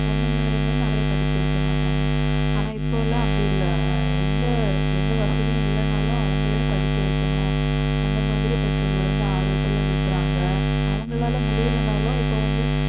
பொண்ணுங்களையுமே நிறைய படிக்க வைக்க மாட்டாங்க ஆனா இப்பலாம் அப்படி இல்லை அஹ் எந்த எந்த வசதியும் இல்லைன்னாலும் அவங்களே படிக்க வைக்கணும் அந்த மாதிரி பெற்றோர்களை வந்து ஆர்வத்திலே விடுறாங்க அவங்களால முடியலைன்னாலும் இப்போ வந்து